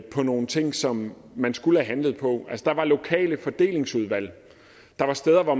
på nogle ting som man skulle have handlet på der var lokale fordelingsudvalg der var steder hvor